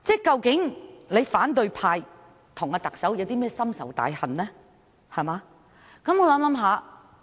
究竟反對派與特首有些甚麼深仇大恨？